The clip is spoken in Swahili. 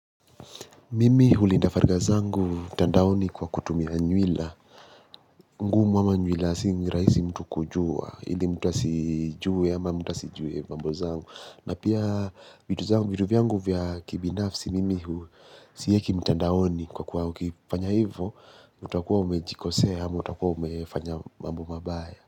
Mimi hulinda faragha zangu mtandaoni kwa kutumia nywila. Ngumu ama nywila si rahisi mtu kujua, ili mtu asijue ama mtu asijue mambo zangu. Na pia vitu vyangu vya kibinafsi, mimi huwa siweki mtandaoni kwa kuwa ukifanya hivyo, utakuwa umejikosea ama utakuwa umefanya mambo mabaya.